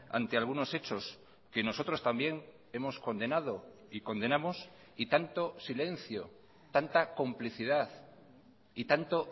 ante algunos hechos que nosotros también hemos condenado y condenamos y tanto silencio tanta complicidad y tanto